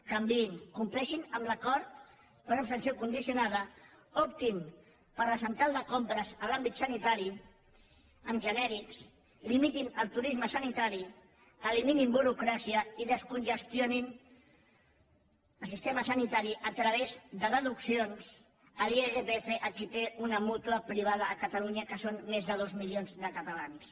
canviïn compleixin amb l’acord per abstenció condicionada optin per la central de compres en l’àmbit sanitari amb genèrics limitin el turisme sanitari eliminin burocràcia i descongestionin el sistema sanitari a través de deduccions a l’irpf a qui té una mútua privada a catalunya que són més de dos milions de catalans